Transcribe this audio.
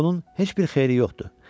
Amma bunun heç bir xeyri yox idi.